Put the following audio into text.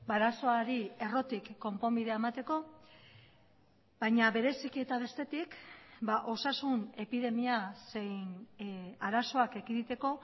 arazoari errotik konponbidea emateko baina bereziki eta bestetik osasun epidemia zein arazoak ekiditeko